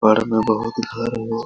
पर में बहुत घर हो।